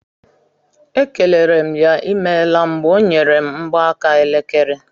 E kelere m ya imeela mgbe ọ nyere m mgbaaka elekere.